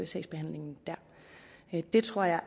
sagsbehandlingen der det tror jeg